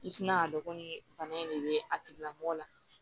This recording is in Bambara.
I tina k'a dɔn ko bana in de be a tigila mɔgɔ la